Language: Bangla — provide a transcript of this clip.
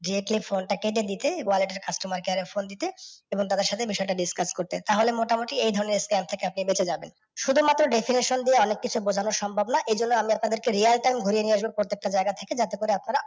দেখলে কল টা কেটে দিতে। customer care এ ফোন দিতে এবং তাদের সাথে বিসয় টা নিয়ে discuss করতে। তাহলে মোটামুটি এই ধরণের scam থেকে আপনি বেঁচে জাবেন। শুধু মাত্র definition দিয়ে অনেক কিছু বোঝানো সম্ভব না। এই জন্য আমি আপনাদেরকে real time ঘুরিয়ে নিইয়ে আসব প্রত্যেকটা জায়গা থেকে যাতে করে আপনারা